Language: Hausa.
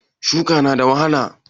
Shuƙi na da wahala?